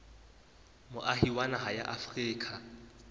moahi wa naha ya afrika